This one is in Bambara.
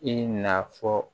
I na fɔ